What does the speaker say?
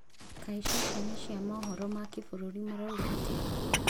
Kaĩ ceceni cia mohoro ma kĩbũrũri marauga atĩa?